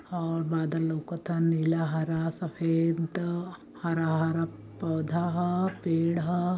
और बादल लउकत आ नीला हरा सफ़ेद हरा - हरा पौधा ह पेंड़ ह।